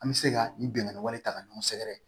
An bɛ se ka nin binkani wale ta ka ɲɔgɔn sɛgɛrɛ